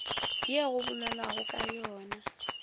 ye go bolelwago ka yona